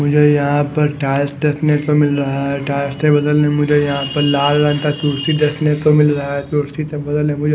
मुझे यहाँ पर टाइल्स देखने को मिल रहा है टाइल्स के बगल में मुझे यहाँ पर लाल रंग का कुर्सी देखने को मिल रहा है कुर्सी के बगल में मुझे--